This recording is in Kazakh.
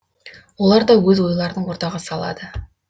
олар да өз ойларын ортаға салады